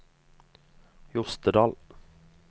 Jostedal